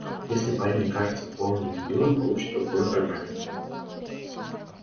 если парень окажется полным дебилом получит по полной программе